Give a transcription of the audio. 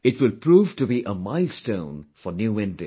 It will prove to be a milestone for New India